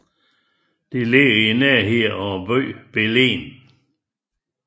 Det ligger i nærheden af byen Belen